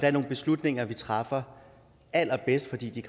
er nogle beslutninger vi træffer allerbedst fordi de